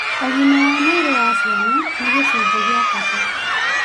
Ugĩma wa mwĩrĩ wa ciana nĩ gĩcunjĩ gĩa bata